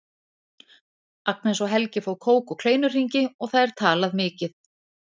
Agnes og Helgi fá kók og kleinuhringi og það er talað mikið.